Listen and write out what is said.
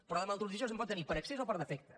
però de malnutrició se’n pot tenir per excés o per defecte